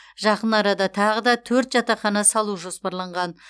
жақын арада тағы да төрт жатақхана салу жоспарланған